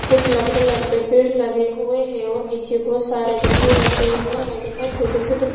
ई एगो बस अड्डा ह जहाँ बहुत सारा बस लागल बा और टेम्पू भी काला रंग के लागल बा --